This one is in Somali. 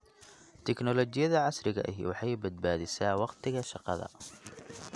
Tiknoolajiyada casriga ahi waxay badbaadisaa wakhtiga shaqada.